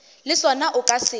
le sona o ka se